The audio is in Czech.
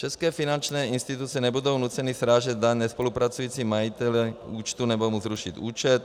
České finanční instituce nebudou nuceny srážet daň nespolupracujícímu majiteli účtu nebo mu zrušit účet.